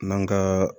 N'an ka